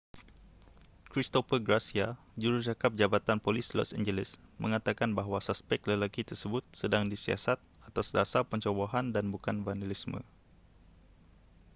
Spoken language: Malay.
christopher garcia jurucakap jabatan polis los angeles mengatakan bahawa suspek lelaki tersebut sedang disiasat atas dasar pencerobohan dan bukan vandalisme